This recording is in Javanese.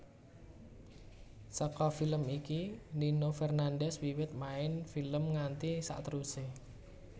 Saka film iki Nino Fernandez wiwit main film nganti saterusé